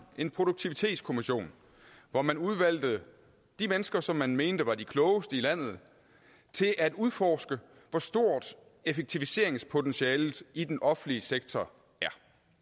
en produktivitetskommission hvor man udvalgte de mennesker som man mente var de klogeste i landet til at udforske hvor stort effektiviseringspotentialet i den offentlige sektor er